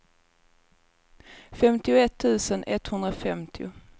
femtioett tusen etthundrafemtio